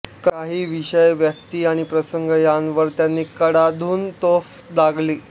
काही विषय व्यक्ती आणि प्रसंग यांवर त्यांनी कडाडून तोफ डागली